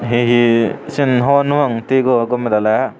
ye siyen hor no pang thigo gome daley.